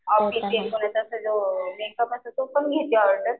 असते तो मेकअप असतं तर तो पण घेते ऑर्डर.